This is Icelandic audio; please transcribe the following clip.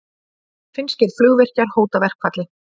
Finnskir flugvirkjar hóta verkfalli